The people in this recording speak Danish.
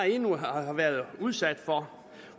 endnu har været udsat for